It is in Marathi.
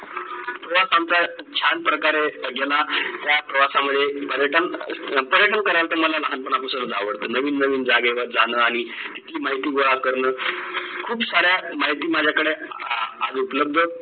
मुळात आमचं छान प्रकारे गेला या प्रवासामध्ये पर्यटन पर्यटन करायला तर मला लहानपणापासूनच आवडत नवीन नवीन जागेवर जाणं आणि तिथली माहिती गोळा करणं खूप साऱ्या माहिती माझ्याकडं आज उपलब्ध